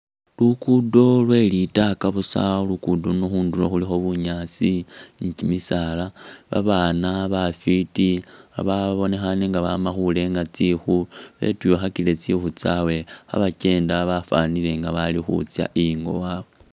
Lukudo lwe litaaka busa ,lukodo luno khunduro khulikho bunyaasi ni tsimisala, babana bafiti babonekhane inga bama khurenya tsingu ,betwikhakile tsingu tsyawe khebakenda bafwanile nga bakhutsa ingo wawe .